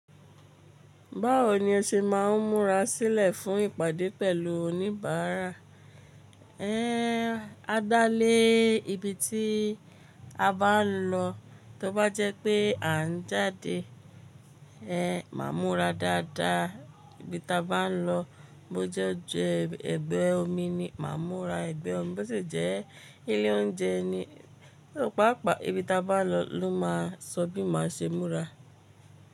Báwo ni ẹ ṣe máa ń múra sílẹ̀ fún ìpàdé pẹ̀lú oníbàárà? A dá lé ibi tí a bá ń lọ. Tí ó bá jẹ́ pé à ń jáde, máa múra dáadáa. Ibi tí a bá ń lọ, bó jẹ́ díẹ̀ ẹ̀bẹ̀ omi ni, máa múra ẹ̀bẹ̀ omi, bó ti jẹ́ ilé oúnjẹ ni, pàápàá ibi tí a bá lọ ló máa sọ bí máa ṣe múra.